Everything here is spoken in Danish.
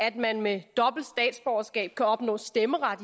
at man med dobbelt statsborgerskab kan opnå stemmeret